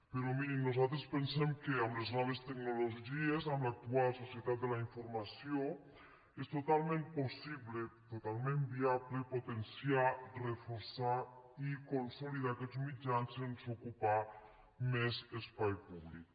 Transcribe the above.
però mirin nosaltres pensem que amb les noves tecnologies amb l’actual societat de la informació és totalment possible totalment viable potenciar reforçar i consolidar aquests mitjans sense ocupar més espai públic